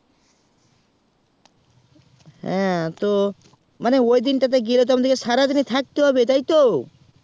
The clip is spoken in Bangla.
হ্যাঁ মানে ওই দিন তাতে গেলে তো সারা দিন থাকতে হবে তাই তো